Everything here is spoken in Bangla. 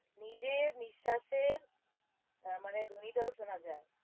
নিজের নিঃশ্বাসের হ্যাঁ মানে ধ্বনি টাও শোনা যায়।